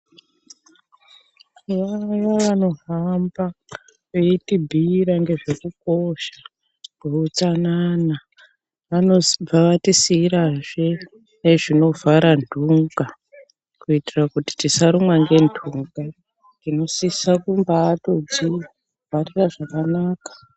Vaayo vanohamba veitibhiira ngezvekukosha kweutsanana, vanobva vatisiira zvee nezvinovhara ntunga kuitira kuti tisarumwa ngentunga, tinosisa kumbaatozvivharira zvakanaka.